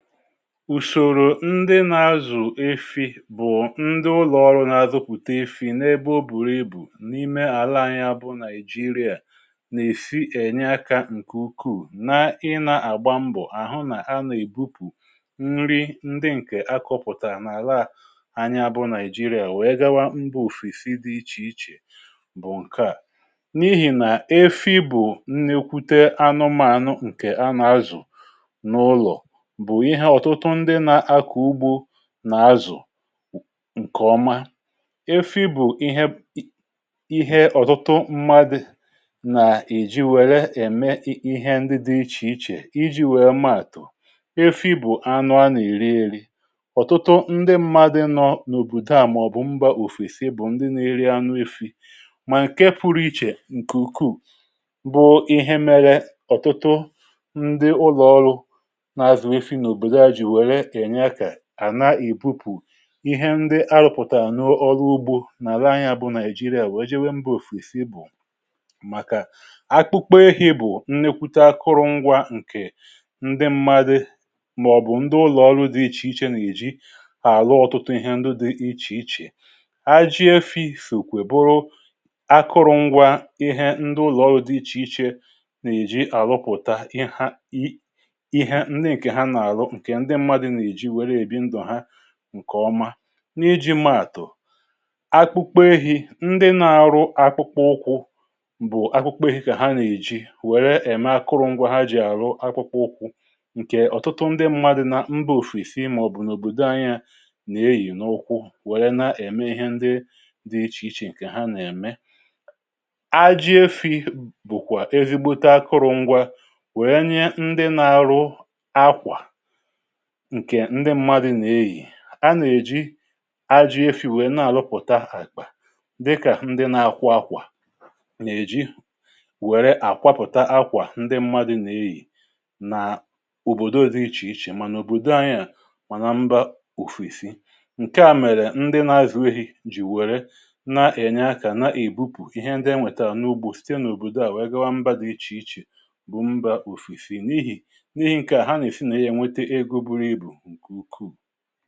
Ụzọ ndị na-azụ efi si arụ ọrụ na Naịjirịa. Ụfọdụ ndị na-azụ efi bụ ndị ụlọ ọrụ na-azụpụta efi n’ebe ọ bụrị ibu n’ime ala anyị, bụ Naịjirịa. Efi na-enye aka nke ukwu na ị na-agba mbọ hụ na a na-ebupụ nri ndị a kọrọpụta n’ala anyị Naịjirịa wee gawa mba ofesi dị iche iche. Nke a bụ n’ihi na efi bụ anụmanụ a na-azụ n’ụlọ, na-azụ nke ọma. Efi bụ ihe ihe ọtụtụ mmadụ ji were eme ihe dị iche iche iji wee mata. Efi bụ anụ eri eri ọtụtụ ndị mmadụ nọ n’obodo, maọbụ mba ofesi, bụ ndị na-eri anụ efi. Ma ihe pụrụ iche nke ukwuu bụ na ọtụtụ ụlọ ọrụ na-ebupụ ihe ndị ha rụpụtara n’ụlọ ọrụ ugbo na ala anyị Naịjirịa wee jee mba ofesi, bụ maka akpụkpọ efi. Akpụkpọ efi bụ nke dị oke mkpa akụrụngwa ndị mmadụ maọbụ ụlọ ọrụ dị iche iche ji arụ ọtụtụ ihe dị iche iche. A na-eji efi sookwa akụrụngwa ndị ụlọ ọrụ dị iche iche ji arụpụta ihe ndị mmadụ ji ebi ndụ ha nke ọma. N’iji maa atụ, akpụkpọ ehi: ndị na-arụ akpụkpọ ụkwụ na-eji akpụkpọ ehi were mee akpụkpọ ụkwụ. Ọtụtụ ndị mmadụ na mba ofesi, ma ọ bụ ọbụna n’obodo anyị, na-eyị akpụkpọ ụkwụ a, were na-eme ihe dị iche iche ka ha na-eme. Aji efi bụkwa ezigbote akụrụngwa, a na-enye ndị na-arụ akwa. Ndị mmadụ na-eyị akwa a, a na-eji aji efi were arụpụta akpa, dịka ndị na-akwọ akwa na-eji were akwa ụzọ, nke ndị mmadụ na-eyị na obodo dị iche iche, ma n’obodo anyị ma na mba ofesi. Nke a mere na ndị na-azụ efi ji were na-enye aka na-ebupụkwa ihe ndị ha nwetara n’ugbo site n’obodo gaa mba dị iche iche, bụ mba ofesi n’ihi n'ihi nke a ha na-esi na ya nke ukwu.